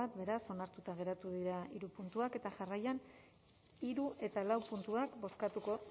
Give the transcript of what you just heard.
beraz onartuta geratu dira puntuak eta jarraian hirugarrena eta laugarrena puntuak bozkatuko